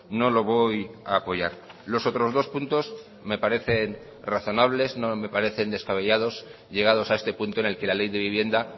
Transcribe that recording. no lo voy a apoyar los otros dos puntos me parecen razonables no me parecen descabellados llegados a este punto en el que la ley de vivienda